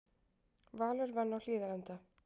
Valur vann á Hlíðarenda